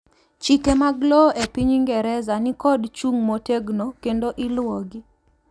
chike mag lowo e piny ingereza nikod chung motegno kendo iluwogi